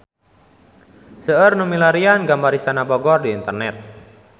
Seueur nu milarian gambar Istana Bogor di internet